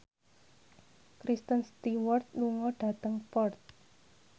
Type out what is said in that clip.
Kristen Stewart lunga dhateng Perth